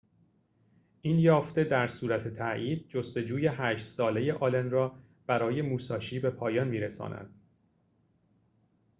این یافته در صورت تأیید جستجوی هشت ساله آلن را برای موساشی به پایان می‌رساند